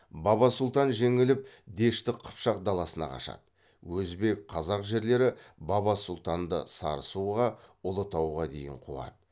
баба сұлтан жеңіліп дешті қыпшақ даласына қашады өзбек қазақ жерлері баба сұлтанды сарысуға ұлытауға дейін қуады